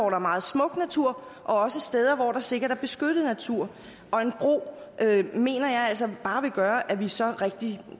er meget smuk natur også steder hvor der sikkert er beskyttet natur og en bro mener jeg altså bare vil gøre at vi så rigtig